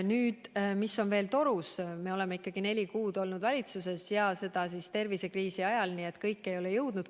on veel torus, aga me oleme alles neli kuud olnud valitsuses ja teinud seda tervisekriisi ajal, nii et kõike ei ole veel jõudnud.